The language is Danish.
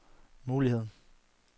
muligheden